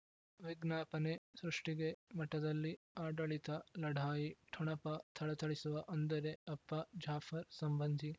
ವಿಜ್ಞಾಪನೆ ಸೃಷ್ಟಿಗೆ ಮಠದಲ್ಲಿ ಆಡಳಿತ ಲಢಾಯಿ ಠೊಣಪ ಥಳಥಳಿಸುವ ಅಂದರೆ ಅಪ್ಪ ಜಾಫರ್ ಸಂಬಂಧಿ